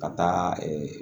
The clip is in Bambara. Ka taa